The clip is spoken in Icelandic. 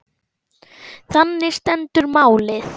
Þannig stendur málið.